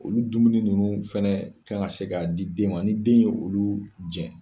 Olu dumuni nunnu fɛnɛ k'an ka se k'a di den ma, ni den y ye olu jɛn.